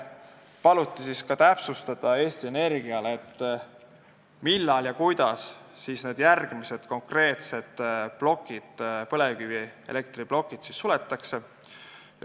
Eesti Energial paluti täpsustada, millal ja kuidas järgmised konkreetsed põlevkivielektriplokid suletakse.